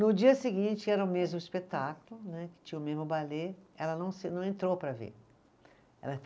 No dia seguinte, era o mesmo espetáculo né, que tinha o mesmo balê, ela não se, não entrou para ver, ela